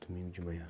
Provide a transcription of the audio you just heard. Domingo de manhã?